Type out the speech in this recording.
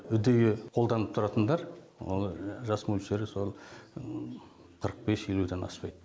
үдейі қолданып тұратындар жас мөлшері сол қырық бес елуден аспайды